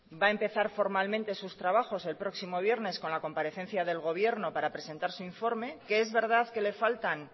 va a empezar formalmente sus trabajos el próximo viernes con la comparecencia del gobierno para presentar su informe que es verdad que le faltan